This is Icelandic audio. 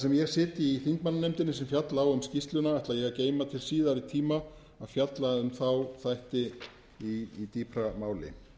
sem ég sit í þingmannanefndinni sem fjalla á um skýrsluna ætla ég að geyma til síðari tíma að fjalla um þá þætti í dýpra máli